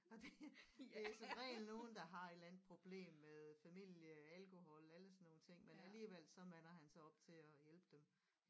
Og det det er som regel nogen der har et eller andet problem med familie alkohol alle sådan nogle ting men alligevel så mander han sig op til at hjælpe dem